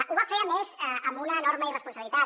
ho va fer a més amb una enorme irresponsabilitat